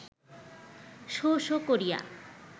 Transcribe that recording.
শোঁ শোঁ করিয়া